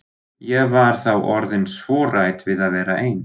Ég var þá orðin svo hrædd við að vera ein.